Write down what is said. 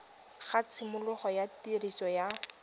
ga tshimologo ya tiriso ya